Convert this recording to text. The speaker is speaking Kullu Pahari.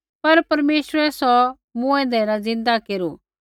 पर परमेश्वरै सौ मूँऐंदै न ज़िन्दा केरू